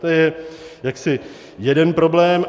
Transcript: To je jaksi jeden problém.